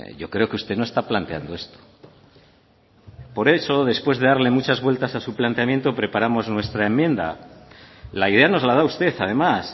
yo creo que usted no está planteando esto por eso después de darle muchas vueltas a su planteamiento preparamos nuestra enmienda la idea nos la da usted además